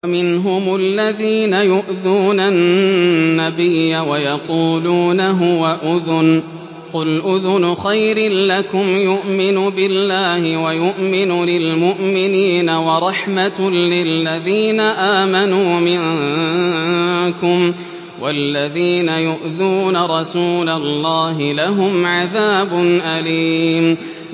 وَمِنْهُمُ الَّذِينَ يُؤْذُونَ النَّبِيَّ وَيَقُولُونَ هُوَ أُذُنٌ ۚ قُلْ أُذُنُ خَيْرٍ لَّكُمْ يُؤْمِنُ بِاللَّهِ وَيُؤْمِنُ لِلْمُؤْمِنِينَ وَرَحْمَةٌ لِّلَّذِينَ آمَنُوا مِنكُمْ ۚ وَالَّذِينَ يُؤْذُونَ رَسُولَ اللَّهِ لَهُمْ عَذَابٌ أَلِيمٌ